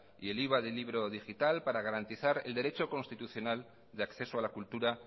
y el iva del libro digital para garantizar el derecho constitucional de acceso a la cultura